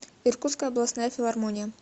иркутская областная филармония